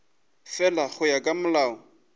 fela go ya ka molao